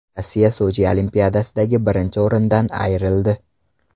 Rossiya Sochi Olimpiadasidagi birinchi o‘rindan ayrildi.